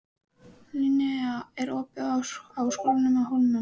Linnea, er opið í Háskólanum á Hólum?